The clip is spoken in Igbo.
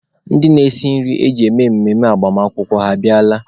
Ndị na-esi nri eji eme mmemme agbamakwụkwọ ha abịala?